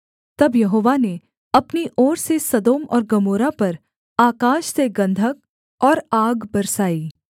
तब यहोवा ने अपनी ओर से सदोम और गमोरा पर आकाश से गन्धक और आग बरसाई